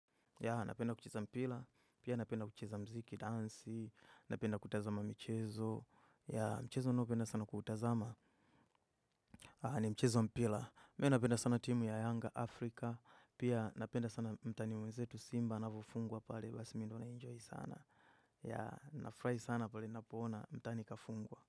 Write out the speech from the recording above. Ya napenda kuchiza mpila, pia napenda kuchiza mziki dansi, napenda kutazama michezo, ya mchezo ninaopenda sana kuutazama, ni mchezo wa mpila. Mi napenda sana timu ya Yanga Africa, pia napenda sana mtani mwenzetu simba anavofungwa pale, basi mi ndo na enjoy sana. Ya nafurahi sana pale napo ona mtani kafungwa.